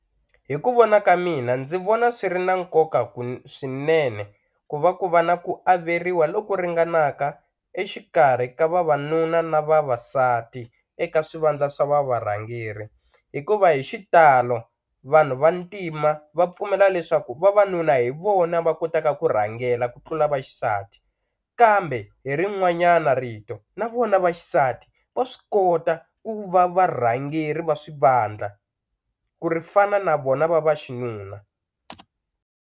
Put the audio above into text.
Hi ku vona ka mina ndzi vona swi ri na nkoka swinene ku va ku va na ku averiwa loku ringanaka exikarhi ka vavanuna na vavasati eka swivandla swa va varhangeri hikuva hi xitalo vanhu va ntima va pfumela leswaku vavanuna hi vona va kotaka ku rhangela ku tlula vaxisati kambe hi rin'wanyana rito na vona vaxisati va swi kota ku va varhangeri va swivandla ku ri fana na vona va vaxinuna.